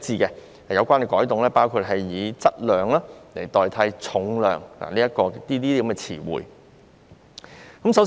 有關改動包括以"質量"代替"重量"等詞彙。